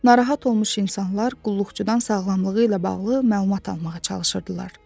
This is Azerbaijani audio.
Narahat olmuş insanlar qulluqçudan sağlamlığı ilə bağlı məlumat almağa çalışırdılar.